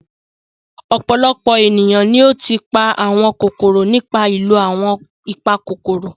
Ọ̀pọ̀lọpọ̀ ènìyàn ni ó ti pa àwọn kòkòrò nípa ìlò àwọn ìpakòkòrò.